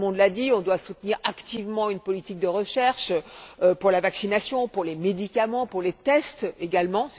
Tout le monde l'a dit. Nous devons soutenir activement une politique de recherche pour la vaccination, pour les médicaments, pour les tests également.